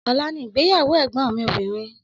Ọla ni ìgbéyàwó ẹgbọn mi obìnrin